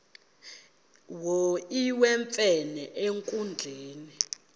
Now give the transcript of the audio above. wo iwemfene enkundleni